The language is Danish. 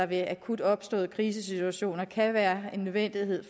ved akut opståede krisesituationer kan være en nødvendighed